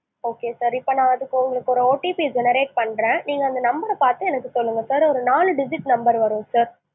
okay sir இப்போ நான் அதுக்கு உங்களுக்கு ஒரு OTP generate பண்றேன், நீங்க அந்த number ற பாத்து சொல்லுங்க sir ஒரு நாலு digit number வரும் sir